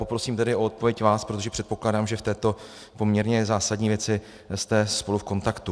Poprosím tedy o odpověď vás, protože předpokládám, že v této poměrně zásadní věci jste spolu v kontaktu.